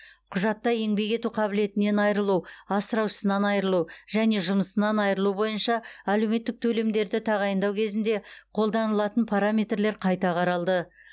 құжатта еңбек ету қабілетінен айырылу асыраушысынан айырылу және жымысынан айырылу бойынша әлеуметтік төлемдерді тағайындау кезінде қолданылатын параметрлер қайта қаралды